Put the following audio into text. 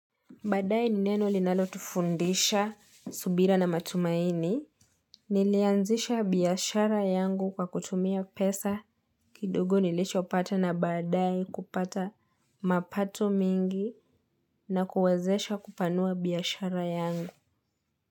Baadae ni neno linalotufundisha subira na matumaini, nilianzisha biashara yangu kwa kutumia pesa kidogo nilichopata na baadae kupata mapato mingi na kuwazesha kupanua biashara yangu.